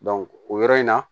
o yɔrɔ in na